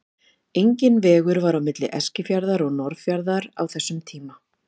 Enginn vegur var á milli Eskifjarðar og Norðfjarðar á þessum tíma.